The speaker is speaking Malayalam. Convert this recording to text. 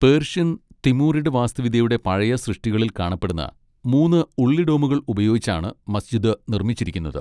പേർഷ്യൻ, തിമൂറിഡ് വാസ്തുവിദ്യയുടെ പഴയ സൃഷ്ടികളിൽ കാണപ്പെടുന്ന മൂന്ന് ഉള്ളി ഡോമുകൾ ഉപയോഗിച്ചാണ് മസ്ജിദ് നിർമ്മിച്ചിരിക്കുന്നത്.